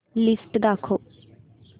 list दाखव